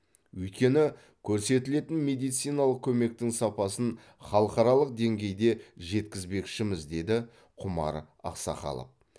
өйткені көрсетілетін медициналық көмектің сапасын халықаралық деңгейге жеткізбекшіміз деді құмар ақсақалов